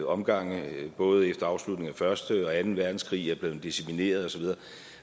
omgange både efter afslutningen af første verdenskrig og anden verdenskrig er blevet decimeret og så videre